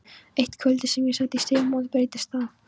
Eitt kvöldið sem ég sat í Stígamótum breyttist það.